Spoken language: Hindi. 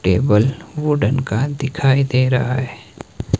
टेबल वुडेन का दिखाई दे रहा है।